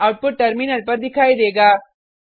output terminal पर दिखाई देगा